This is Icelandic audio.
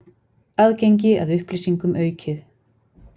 Aðgengi að upplýsingum aukið